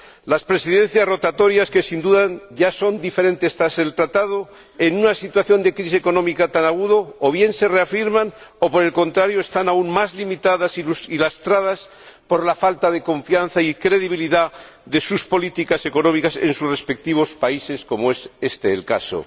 Las Presidencias rotatorias, que, sin duda, ya son diferentes tras el Tratado, en una situación de crisis económica tan aguda, o bien se reafirman o, por el contrario, están aún más limitadas y lastradas por la falta de confianza y credibilidad de sus políticas económicas en sus respectivos países, como en este caso.